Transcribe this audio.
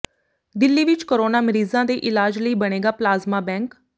ਦਿੱਲੀ ਵਿਚ ਕੋਰੋਨਾ ਮਰੀਜ਼ਾਂ ਦੇ ਇਲਾਜ ਲਈ ਬਣੇਗਾ ਪਲਾਜ਼ਮਾ ਬੈਂਕ